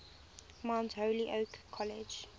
mount holyoke college